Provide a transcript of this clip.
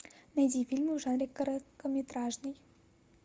найди фильмы в жанре короткометражный